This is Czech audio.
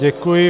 Děkuji.